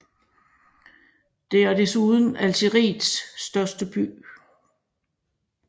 Det er desuden Algeriets største by